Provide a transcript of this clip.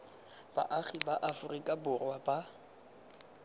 baagi ba aforika borwa ba